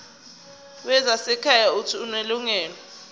wezasekhaya uuthi unelungelo